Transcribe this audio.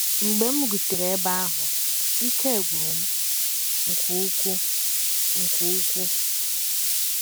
Mgbe m rutere ebe ahụ, ike gwụrụ m nke ukwuu. nke ukwuu.